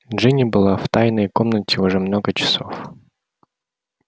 джинни была в тайной комнате уже много часов